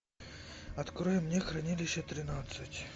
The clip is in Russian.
открой мне хранилище тринадцать